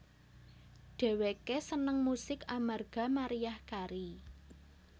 Dhèwèké seneng musik amarga Mariah Carey